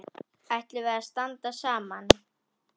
Ætlum við að standa saman?